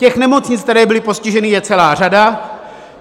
Těch nemocnic, které byly postiženy, je celá řada.